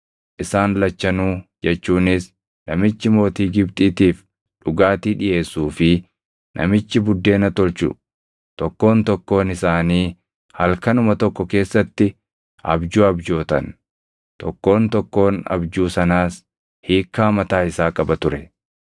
isaan lachanuu jechuunis namichi mootii Gibxiitiif dhugaatii dhiʼeessuu fi namichi buddeena tolchu tokkoon tokkoon isaanii halkanuma tokko keessatti abjuu abjootan; tokkoon tokkoon abjuu sanaas hiikkaa mataa isaa qaba ture.